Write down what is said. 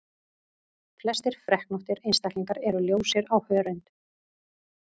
Flestir freknóttir einstaklingar eru ljósir á hörund.